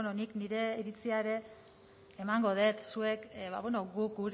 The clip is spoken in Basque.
bueno nik nire iritzia ere emango dut zuek guk